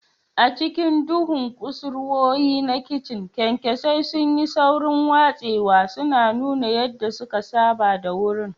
A cikin duhun kusurwoyi na kicin, kyankyasai sun yi saurin watsewa, suna nuna yadda suka saba da wurin.